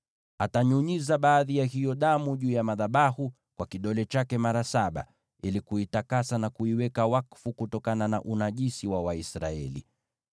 Atanyunyiza baadhi ya hiyo damu juu ya madhabahu kwa kidole chake mara saba, ili kuitakasa na kuiweka wakfu kutokana na unajisi wa Waisraeli.